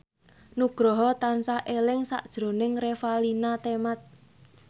Nugroho tansah eling sakjroning Revalina Temat